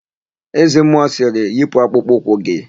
Eze mmụọ sịrị, "yipu akpụkpọ ụkwụ gị"!